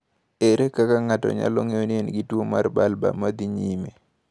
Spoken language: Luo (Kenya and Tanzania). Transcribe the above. Ere kaka ng’ato nyalo ng’eyo ni en gi tuwo mar bulbar ma dhi nyime?